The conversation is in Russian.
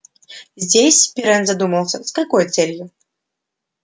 здесь пиренн задумался с какой целью